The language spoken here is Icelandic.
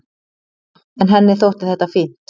En henni þótti þetta fínt.